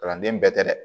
Kalanden bɛɛ tɛ dɛ